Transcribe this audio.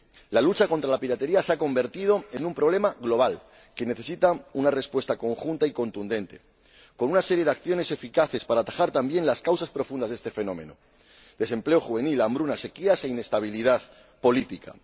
La lucha contra la piratería se ha convertido en un problema global que necesita una respuesta conjunta y contundente, con una serie de acciones eficaces para atajar también las causas profundas de este fenómeno desempleo juvenil, hambrunas, sequías e inestabilidad política.